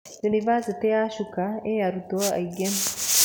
Unibasitĩ ya Chuka ĩĩ arutwo aingĩ.